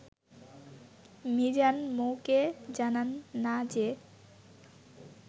মিজান মৌকে জানান না যে